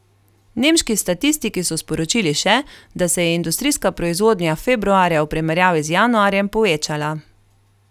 Nemški statistiki so sporočili še, da se je industrijska proizvodnja februarja v primerjavi z januarjem povečala.